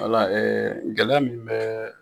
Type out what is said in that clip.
Wala gɛlɛya min bɛ